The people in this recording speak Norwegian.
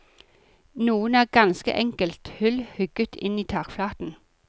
Noen er ganske enkelt hull hugget inn i takflaten.